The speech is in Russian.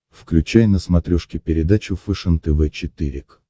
включай на смотрешке передачу фэшен тв четыре к